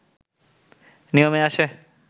নিয়মে আসে